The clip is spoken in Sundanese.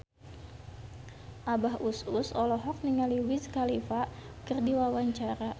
Abah Us Us olohok ningali Wiz Khalifa keur diwawancara